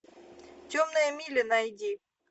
темная миля найди